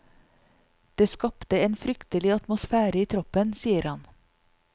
Det skapte en fryktelig atmosfære i troppen, sier han.